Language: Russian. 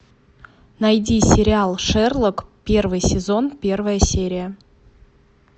найди сериал шерлок первый сезон первая серия